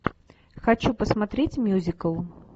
хочу посмотреть мюзикл